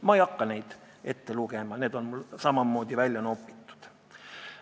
Ma ei hakka neid asju ette lugema, need on mul samamoodi välja nopitud.